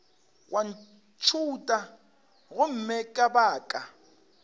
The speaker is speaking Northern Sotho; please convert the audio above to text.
wa ntšhutha gomme ka baka